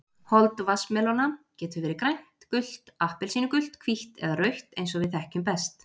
Hold vatnsmelóna getur verið grænt, gult, appelsínugult, hvítt eða rautt eins og við þekkjum best.